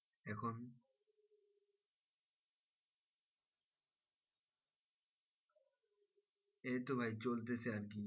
এই তো ভাই চলতেছে আরকি